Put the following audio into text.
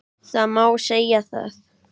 Það má segja það.